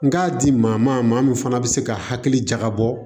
N k'a di maa ma maa min fana bɛ se ka hakili jagabɔ